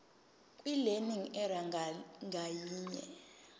kwilearning area ngayinye